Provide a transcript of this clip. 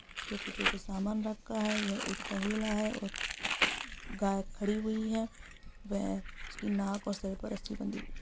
उसके पीछे कुछ सामान रखा है ये एक तबेला है और गाय खड़ी हुई है वेह उसकी नाक और सर पे रस्सी बंधी हुई है